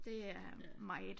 Det er meget